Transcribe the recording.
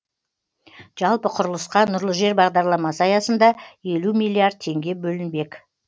жалпы құрылысқа нұрлы жер бағдарламасы аясында елу миллиард теңге бөлінбек